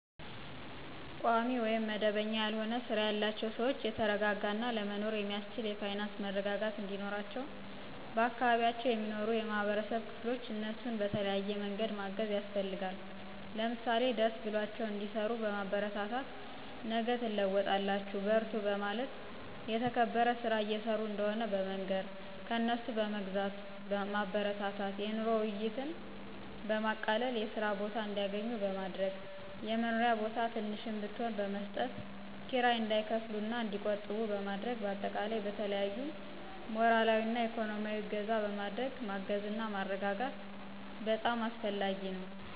ቋሚ ውይም መደበኛ ያልሆነ ስራ ያላቸውን ሰዎች የተረጋጋ እና ለመኖር የሚአስችል የፋይናንስ መረጋጋት እንዲኖራቸው በአካባቢው የሚኖሩ የማህበረሰብ ክፍሎች እነሱን በተለያዬ መንገድ ማገዝ ያስፈልጋል። ለምሳሌ ደስ ብሏቸው እንዲሰሩ በማበረታታት ነገ ትለወጣላቹ በርቱ በማለት የተከበረ ስራ እየሰሩ እንደሆነ በመንገር፣ ከእነሱ በመግዛት ማበረታታት፣ የኑሮ ውይይትን በማቃለል የስራ ቦታ እንዲአገኙ በማድረግ፣ የመኖሪያ ቦታ ትንሽም ብትሆን በመስጠት ክራይ እንዳይከፍሉ እና እንዲቆጥቡ በማድረግ በአጠቃላይ በተለያዪ ሞራላዊ እና እኮኖሚአዊ እገዛ በማድረግ ማገዝና ማረጋጋት በጣም አስፈላጊ ነው።